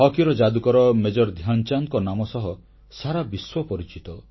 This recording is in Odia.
ହକିର ଯାଦୁକର ମେଜର ଧ୍ୟାନଚାନ୍ଦଙ୍କ ନାମ ସହ ସାରା ବିଶ୍ୱ ପରିଚିତ